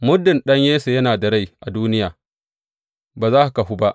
Muddin ɗan Yesse yana da rai a duniya, ba za ka kahu ba.